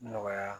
Nɔgɔya